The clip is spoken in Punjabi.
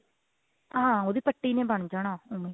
ਹਾਂ ਉਹਦੀ ਪੱਟੀ ਨੇ ਬਣ ਜਾਣਾ ਉਹਨੂੰ